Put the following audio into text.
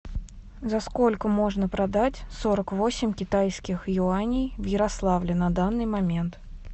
за сколько можно продать сорок восемь китайских юаней в ярославле на данный момент